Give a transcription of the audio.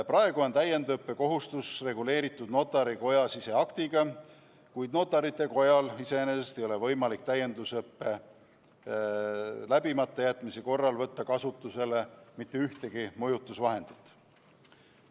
Praegu on täiendusõppe kohustus reguleeritud Notarite Koja siseaktiga, kuid Notarite Kojal iseenesest ei ole võimalik täiendusõppe läbimata jätmise korral võtta kasutusele mitte ühtegi mõjutusvahendit.